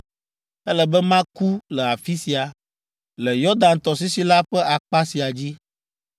Ele be maku le afi sia, le Yɔdan tɔsisi la ƒe akpa sia dzi.